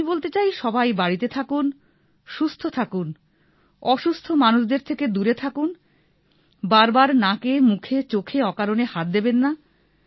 আমি বলতে চাই সবাই বাড়িতে থাকুন সুস্থ থাকুন অসুস্থ মানুষদের থেকে দূরে থাকুন বার বার নাকে মুখে চোখে অকারণে হাত দেবেন না